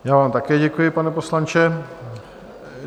Já vám také děkuji, pane poslanče.